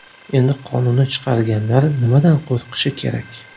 Endi qonunni chiqarganlar nimadan qo‘rqishi kerak?